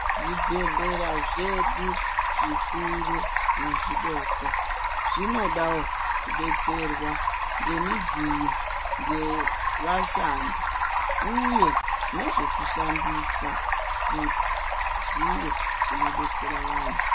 Zvibhedhlera zvedu zvikuru nezvidoko zvinodawo kudetserwa ngemidziyo yevashandi uye nezvekushandisa kuti zvive zvinodetsera vantu.